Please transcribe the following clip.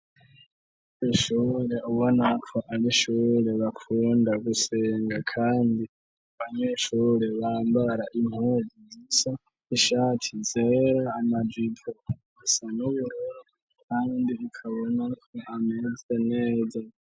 Kw'ishure ubonako arishure bakunda gusenga kandi abanyeshure bambara impuzu zisa ishati yera amajipo asa n'ubururu kandi ukabonako ameze neza.